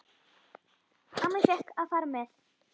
Amma fékk að fara með.